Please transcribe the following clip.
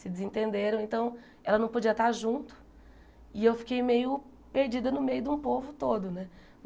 Se desentenderam, então ela não podia estar junto e eu fiquei meio perdida no meio de um povo todo, né?